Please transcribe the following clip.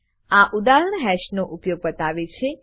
આ ઉદાહરણ હાશ નો ઉપયોગ બતાવે છે